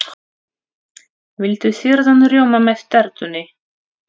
Viltu sýrðan rjóma með tertunni?